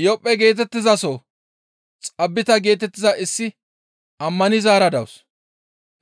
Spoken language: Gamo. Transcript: Iyophphe geetettizason Xaabita geetettiza issi ammanizaara dawus;